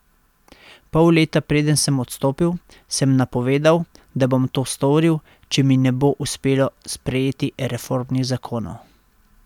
Pol leta preden sem odstopil, sem napovedal, da bom to storil, če mi ne bo uspelo sprejeti reformnih zakonov.